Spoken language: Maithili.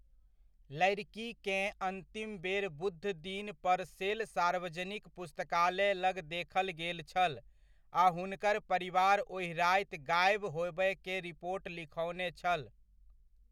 लड़िकीकेँ अन्तिम बेर बुध दिन परसेल सार्वजनिक पुस्तकालय लग देखल गेल छल आ हुनकर परिवार ओहि राति गाएब होबयके रिपोट लिखओने छल।